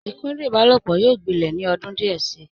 ikudun ìbálòpọ̀ yóò gbilẹ̀ ní ọdún díẹ̀ si.